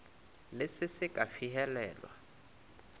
le se se ka fihelelwa